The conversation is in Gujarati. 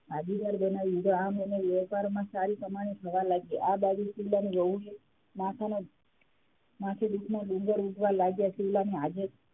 વેપાર માં સારી કમાણી થવા લાગી આ બાજુ શિવલાની વહુને માથે દુખના ડુંગર ઉટવા લાગ્યાં શિવલાની,